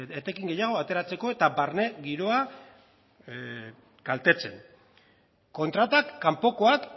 etekin gehiago ateratzeko eta barne giroa kaltetzen kontratak kanpokoak